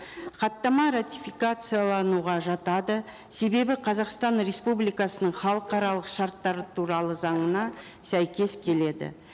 хаттама ратификациялануға жатады себебі қазақстан республикасының халықаралық шарттары туралы заңына сәйкес келеді